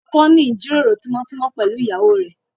Ọkọ ń ní ìjíròrò tímọ́tímọ́ pẹ̀lú ìyàwó rẹ̀